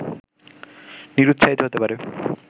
নিরুৎসাহিত হতে পারে